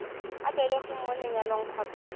o belegweng mo lenyalong kgotsa